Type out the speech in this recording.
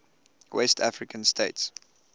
west african states